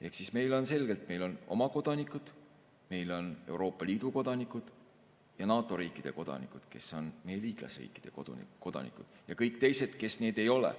Ehk siis on selge, et meil on oma kodanikud, meil on Euroopa Liidu kodanikud ja NATO riikide kodanikud, kes on meie liitlasriikide kodanikud, ja kõik teised, kes need ei ole.